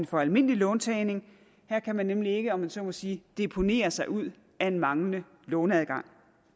for almindelig låntagning her kan man nemlig ikke om jeg så må sige deponere sig ud af en manglende låneadgang